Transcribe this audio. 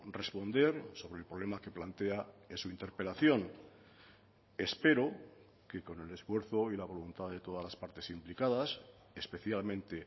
responder sobre el problema que plantea en su interpelación espero que con el esfuerzo y la voluntad de todas las partes implicadas especialmente